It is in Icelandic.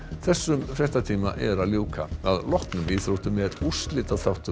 þessum fréttatíma er að ljúka að loknum íþróttum er